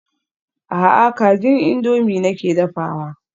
A'a kajin indomie nake dafawa.